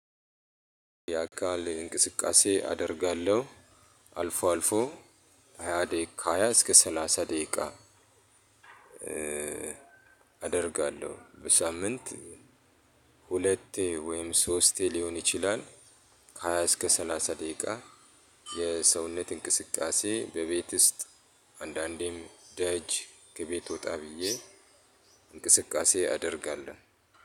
የአካል እንቅስቃሴ አደርጋለሁ አልፎ አልፎ ሃያ ደቂቃ ከ ሃያ እስከ ሰላሳ ደቂቃ አደርጋለሁ በሳምንት ሁለቴ ወይም ሶስቴ ሊሆን ይችላል። ከሃያ እስከ ሰላሳ ደቂቃ የሰውነት እንቅስቃሴ በቤት ውስጥ አንዳንዴም ደጅ ከቤት ወጣ ብዬ እንቅስቃሴ አደርጋለሁ።